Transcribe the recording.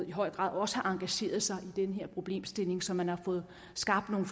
i høj grad også har engageret sig i den her problemstilling så man har fået skabt nogle